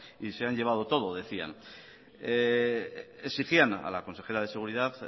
y se han llevado todo decían exigían a la consejera de seguridad